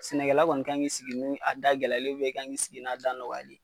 Sɛnɛkɛla kɔni kan k'i sigi ni a da gɛlɛyalen ye i kan k'i sigi n'a da nɔgɔyalen ye.